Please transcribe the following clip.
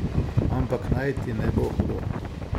Ampak naj ti ne bo hudo.